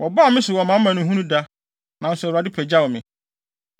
Wɔbaa me so wɔ mʼamanehunu da, nanso Awurade pagyaw me.